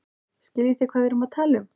Skiljið þið hvað við erum að tala um.